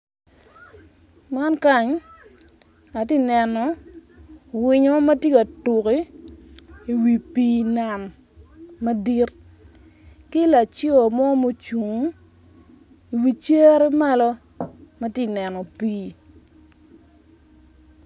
Man kany atye ka nenu winyo matye ka tuk i wi pii nam madit ki laco mo mucung iwi cere malo matye ka neno pii